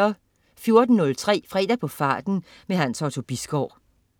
14.03 Fredag på farten. Hans Otto Bisgaard